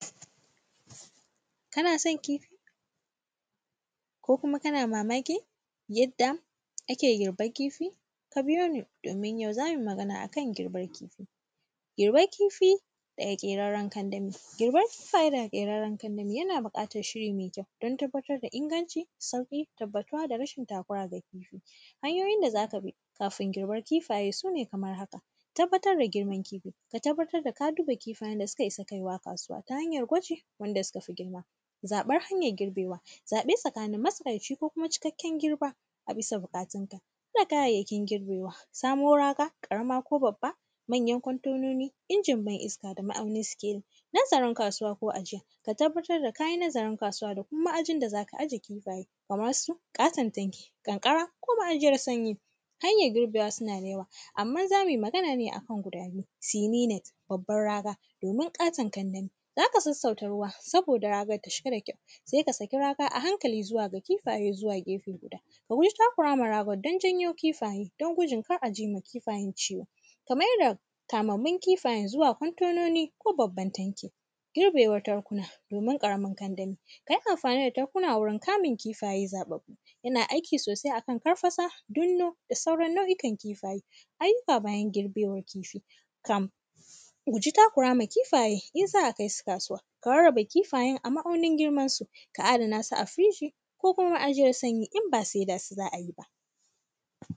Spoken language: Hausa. Kana son kifi ko kuma kana mamakin yadda ake girban kifi? Ka biyo ni, domin yau za mui magana a kan girbar kifi. Girbar kifi daga ƙerarren kandami, girbar kifaye daga ƙerarren kandami, yana biƙatar shiri me kyau, don tabbatar da inganci, sauƙi, tabbatuwa da rashin takura ga kifi. Hanyoyin da za ka bi, kafin girbar kifaye su ne kamar haka. Tabbatar da girman kifi, ka tabbatar da ka duba kifayen da suka isa kai wa kasuwa, ta hanyar gwaji, wanda suka fi girma. Zaƃar hanyar girbewa, zaƃe tsakanin matsakaici ko kuma cikakken girba a bisa biƙatinka. Duba kayayyakin girbewa, samo raga, ƙarama ko babba, manyan kwantononi, injin ban-iska da ma’aunin sikeli, nazarin kasuwa ko ajiya. Ka tabbatar da ka yi nazarin kasuwa da kuma ma’ajin da za ka aje kifaye, kamar su ƙaton tanki, ƙanƙara ko ma’ajiyar sanyi. Hanyar girbewa suna da yawa, amman za mui magana ne a kan guda biyu, “sininet” babbar raga domin ƙaton kandami. Za ka sassauta ruwa, saboda ragar ta shiga da kyau, se ka saki raga a hankali zuwa ga kifaye zuwa gefe guda Kam guji takura ma ragar don janyo kifaye, don gudun kar a ji ma kifayen ciwo. Ka mai da kamammun kifayen zuwa kwantononi ko babban tanki. Girbewan tankuna domin ƙaramin kandami, ka yi amfani da tankuna wurin kamun kifaye zaƃaƃƃu. Yana aiki sosai a kan karfasa, dinno da sauran nau’ikan kifaye. Ayyuka bayan girbewar kifi, kam guji takura ma kifaye in za a kai su kasuwa, ka rarraba kifayen a ma’aunin girmansu, ka adana su a firiji ko kuma ma’ajiyar sanyi in ba seda su za a yi ba.